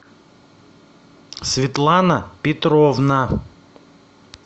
светлана петровна